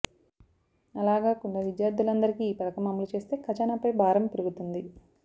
అలాగాకుండా విద్యార్థులందరికీ ఈ పథకం అమలు చేస్తే ఖజానాపై భారం పెరుగుతుంది